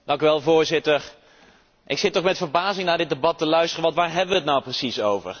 Voorzitter, ik zit met verbazing naar dit debat te luisteren. Want waar hebben we het nu precies over?